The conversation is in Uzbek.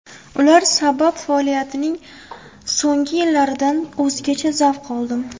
Ular sabab faoliyatimning so‘nggi yillaridan o‘zgacha zavq oldim.